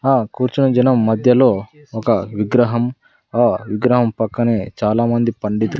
ఆ కూర్చుని జనం మధ్యలో ఒక విగ్రహం ఆ విగ్రహం పక్కనే చాలామంది పండితు.